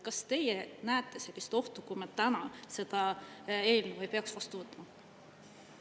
Kas teie näete sellist ohtu, kui me täna seda eelnõu ei peaks vastu võtma?